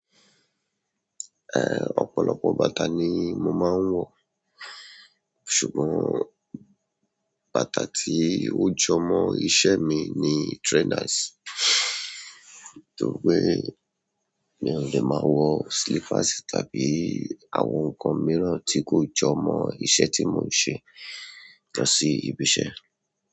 Ọ̀pọ̀lọpọ̀ bàtà ni mo máa ń wọ̀. Ṣùgbọ́n, bàtà tí ó jọmọ́ iṣẹ́ mi ni trainers. Nítorí pé mi ò lè máa wọ slippers tàbí àwọn nǹkan mìíràn tí kò jọmọ́ iṣẹ́ tí mò ń ṣe lọ sí ibi iṣẹ́.